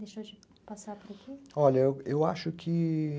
olha, eu acho que...